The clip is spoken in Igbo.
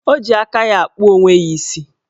O ji aka ya akpụ onwe ya isi